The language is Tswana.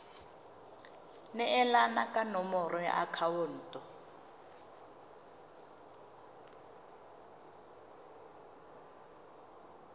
neelana ka nomoro ya akhaonto